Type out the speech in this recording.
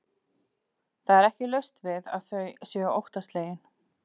Það er ekki laust við að þau séu óttaslegin.